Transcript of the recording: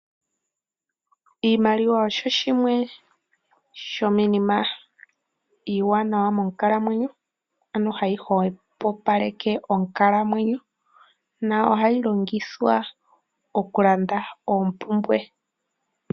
Iimaliwa osho shimwe sho miinima iiwanawa monkalamwenyo, ano ha yi hwepopaleke onkalamwenyo yo oha yi longithwa oulanda oompumbwe